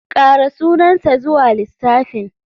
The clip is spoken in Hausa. Ƙara sunansa zuwa lissafin.